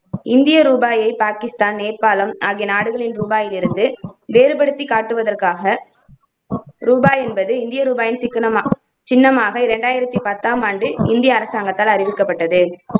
இந்திய ரூபாயை பாகிஸ்தான், நேபாளம் ஆகிய நாடுகளின் ரூபாயிலிருந்து வேறுபடுத்திக் காட்டுவதற்காக ரூபாய் என்பது இந்தியா ரூபாயின் சிக்கனமாக சின்னமாக இரண்டாயிரத்தி பத்தாம் ஆண்டு இந்திய அரசாங்கத்தால் அறிவிக்கப்பட்டது.